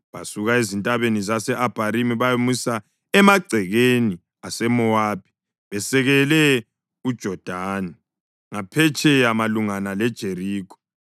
Basuka ezintabeni zase-Abharimi bayamisa emagcekeni aseMowabi besekele uJodani ngaphetsheya malungana leJerikho.